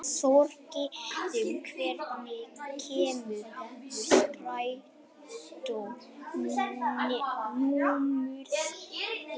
Þorgerður, hvenær kemur strætó númer sautján?